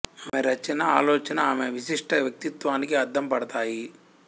ఆమె రచనా ఆలోచనా ఆమె విశిష్ట వ్యకిత్వానికి అద్దం పడతాయి